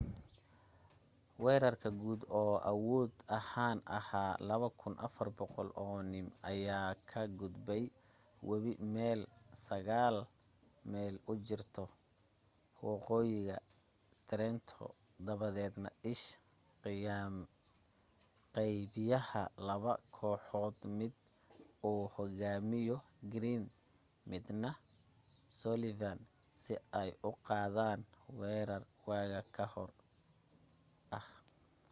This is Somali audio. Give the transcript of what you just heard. weerarka guud oo awood ahaan ahaa 2,400 oo nim ayaa ka gudbay webiga meel sagaal mayl u jirya waqooyiha trenton dabadeedna ish qaybiyay laba kooxood mid uu hogaaminayo greene midna sullivan si ay u qaadan weerar waaga ka hor ah